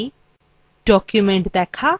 documents দেখা